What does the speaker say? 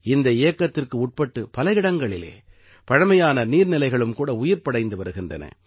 இந்த இயக்கத்திற்குட்பட்டு பல இடங்களிலே பழைமையான நீர்நிலைகளும் கூட உயிர்ப்படைந்து வருகின்றன